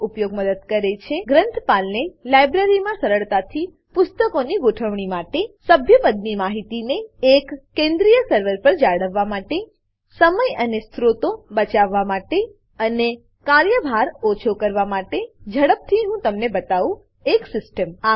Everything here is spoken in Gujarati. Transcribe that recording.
આવી પ્રણાલીનો ઉપયોગ મદદ કરે છે ગ્રંથપાલને લાઈબ્રેરીમાં સરળતાથી પુસ્તકોની ગોઠવણી માટે સભ્યપદની માહિતીને એક કેન્દ્રિય સર્વર પર જાળવવા માટે સમય અને સ્ત્રોતો બચાવવા માટે અને કાર્યભાર ઓછો કરવા માટે હવે ચાલો ઝડપથી હું તમને બતાવું એક સીસ્ટમ